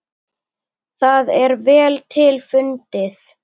Það er vel til fundið.